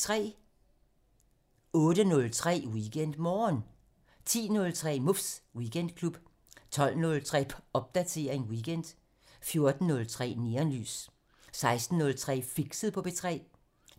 08:03: WeekendMorgen 10:03: Muffs Weekendklub 12:03: Popdatering weekend 14:03: Neonlys 16:03: Fixet på P3